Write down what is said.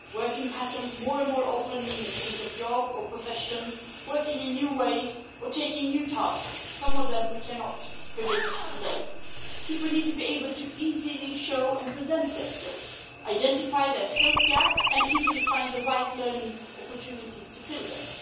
Working patterns more and more often mean a change of job or profession, working in new ways or taking on new tasks, some of which we cannot predict today. People need to be able to easily show and present their skills, identify their skills gaps and easily find the right learning opportunities to fill them.